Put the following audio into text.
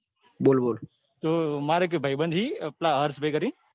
તો માર એક ભાઈબંધછે એ પેલા હર્ષ ભાઈ કરી ને.